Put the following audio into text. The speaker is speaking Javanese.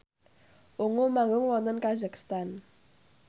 Ungu manggung wonten kazakhstan